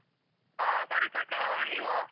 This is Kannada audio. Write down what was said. ಆ ಸರಿತಕ್ಕ ಆ ನೀವಾ?